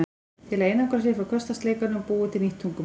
Til að einangra sig frá hversdagsleikanum búið til nýtt tungumál